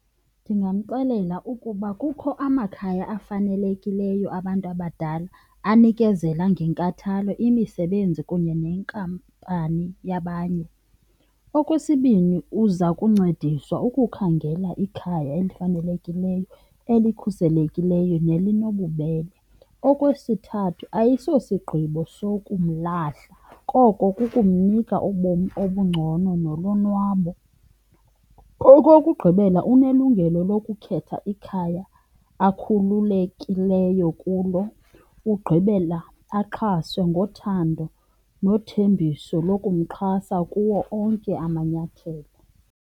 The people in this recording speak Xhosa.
Ndingamxelela ukuba kukho amakhaya afanelekileyo abantu abadala anikezela ngenkathalo imisebenzi kunye nenkampani yabanye. Okwesibini, uza kuncediswa ukukhangela ikhaya elifanelekileyo, elikhuselekileyo nelinobubele. Okwesithathu, ayisosigqibo sokumlahla koko kukumnika ubomi obungcono nolonwabo. Okokugqibela, unelungelo lokukhetha ikhaya akhululekileyo kulo ugqibela axhaswe ngothando nothembiso lokumxhasa kuwo onke amanyathelo.